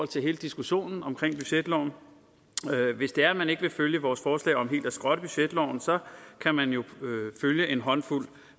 til hele diskussionen omkring budgetloven hvis det er at man ikke vil følge vores forslag om helt at skrotte budgetloven så kan man jo følge en håndfuld